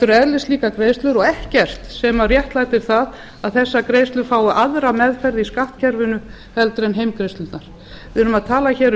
eru eðlislíkar greiðslur og ekkert sem réttlætir að þessar greiðslur fái aðra meðferð í skattkerfinu en heimgreiðslurnar við erum að tala hér um